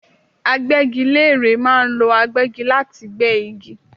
Agbẹ́gilére ma ń lo agbẹ́gi láti gbé igi